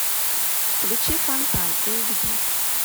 включи фонтан эйч ди